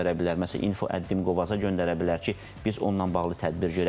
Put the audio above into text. Məsələn, info@dim.gov.az-a göndərə bilər ki, biz onunla bağlı tədbir görək.